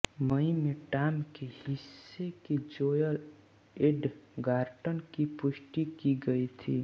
मई में टॉम के हिस्से में जोएल एडगर्टन की पुष्टि की गई थी